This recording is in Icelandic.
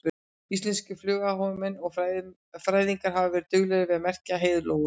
Íslenskir fuglaáhugamenn og fræðingar hafa verið duglegir við að merkja heiðlóur.